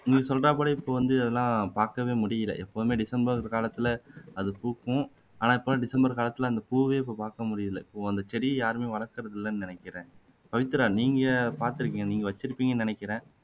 நீ சொல்றா போலே இப்போ வந்து அதெல்லாம் பாக்கவே முடியல எப்போதுமே டிசம்பர் காலத்துல அது பூகும் ஆனா இப்போ எல்லாம் டிசம்பர் காலத்துல அந்த பூவே இப்போ பாக்க முடியல ஓ அந்த செடியை யாருமே வளர்க்குறது இல்லன்னு நினைக்குறேன்பவித்ரா நீங்க பாத்துருக்கீங்களா நீங்க வச்சுருப்பீங்கன்னு நினைக்குறேன்